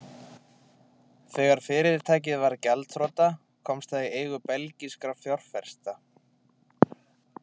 Þegar fyrirtækið varð gjaldþrota komst það í eigu belgískra fjárfesta.